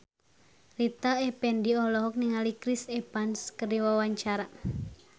Rita Effendy olohok ningali Chris Evans keur diwawancara